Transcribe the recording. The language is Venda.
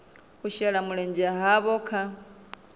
u shela mulenzhe havho kha